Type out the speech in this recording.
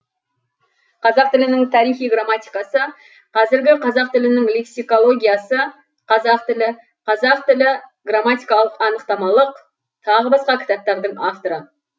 қазақ тілінің тарихи грамматикасы қазіргі қазақ тілінің лексикологиясы қазақ тілі қазақ тілі грамматикалық анықтамалық тағы басқа кітаптардың авторы